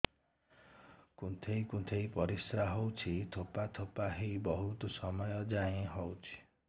କୁନ୍ଥେଇ କୁନ୍ଥେଇ ପରିଶ୍ରା ହଉଛି ଠୋପା ଠୋପା ହେଇ ବହୁତ ସମୟ ଯାଏ ହଉଛି